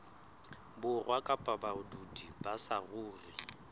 borwa kapa badudi ba saruri